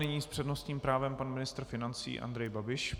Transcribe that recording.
Nyní s přednostním právem pan ministr financí Andrej Babiš.